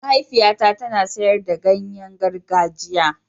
Mahaifiyata tana sayar da ganye gargajiya.